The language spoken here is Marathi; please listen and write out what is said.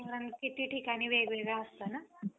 वातावरण किती ठिकाणी वेगवेगळं असतं ना.